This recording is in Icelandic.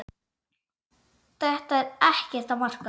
Þetta er ekkert að marka.